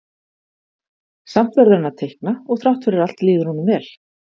Samt verður hann að teikna og þrátt fyrir allt líður honum vel.